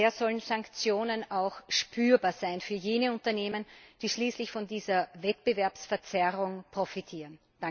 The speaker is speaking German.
Daher sollen Sanktionen auch spürbar sein für jene Unternehmen, die schließlich von dieser Wettbewerbsverzerrung profitieren.